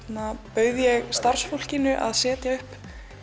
bauð ég starfsfólkinu að setja upp